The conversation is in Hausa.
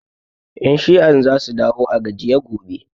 Ƴan shi'an za su dawo a gajiye gobe